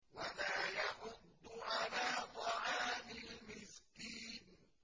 وَلَا يَحُضُّ عَلَىٰ طَعَامِ الْمِسْكِينِ